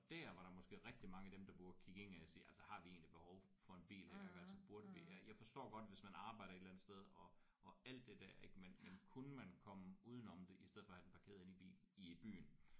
Og dér var der måske rigtig mange af dem der burde kigge indad og sige altså har vi egentlig et behov for en bil? Ik altså burde vi have? Jeg forstår godt hvis man arbejder et eller andet sted og og alt det der ik men kunne man komme udenom det i stedet for at have den parkeret inde i bil i øh byen?